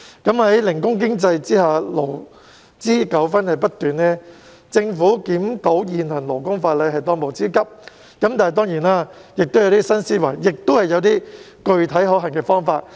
在零工經濟下，勞資糾紛不斷，政府檢討現行勞工法例是當務之急，但當然亦須參考一些新思維和具體可行的方法。